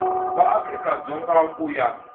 wa afrika dzonga ku ya